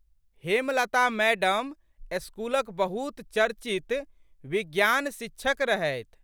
Hemlata madam स्कूलक बहुत चर्चित विज्ञान शिक्षक रहथि।